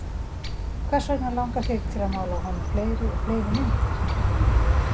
Hvers vegna langar þig til að mála af honum fleiri og fleiri myndir, Lúna?